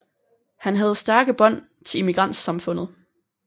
Han havde stærke bånd til immigrantsamfundet